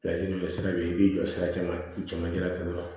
Laturu dɔ sira bɛ yen i b'i jɔ sira caman na u cɛmancɛ la